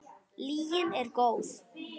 Lygin er góð.